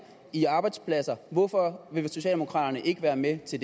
i arbejdspladser hvorfor vil socialdemokraterne ikke være med til